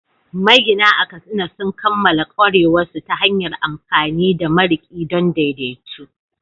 Magina a Katsina sun kammala ƙwarewarsu ta hanyar amfani da mariƙi don daidaito